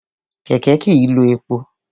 Kẹ̀kẹ́ kìí lo epo.